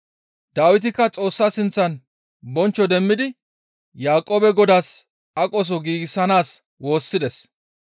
Dawitikka Xoossa sinththan bonchcho demmidi Yaaqoobe Godaas aqoso giigsanaas woossides.